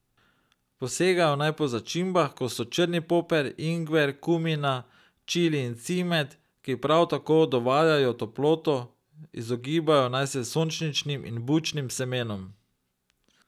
Posegajo naj po začimbah, kot so črni poper, ingver, kumina, čili in cimet, ki prav tako dovajajo toploto, izogibajo naj se sončničnim in bučnim semenom.